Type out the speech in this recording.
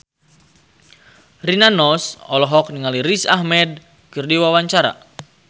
Rina Nose olohok ningali Riz Ahmed keur diwawancara